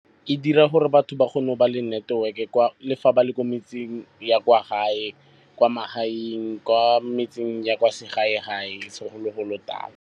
E dira gore batho ba kgone go ba le network-e le fa ba le ko metseng ya kwa gae, kwa magaeng, kwa metseng ya kwa segae-gae, segologolotala.